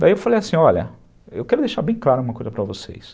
Daí eu falei assim, olha, eu quero deixar bem claro uma coisa para vocês.